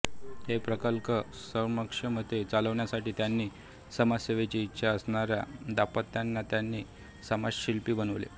हे प्रकल्प सक्षमतेने चालवण्यासाठी त्यांनी समाजसेवेची इच्छा असणाऱ्या दांपत्यांना त्यांनी समाजशिल्पी बनवले